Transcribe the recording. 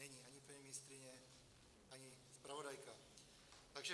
Není - ani paní ministryně, ani zpravodajka.